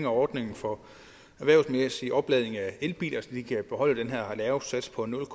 ordningen for erhvervsmæssig opladning af elbiler så de kan beholde den her lave sats på nul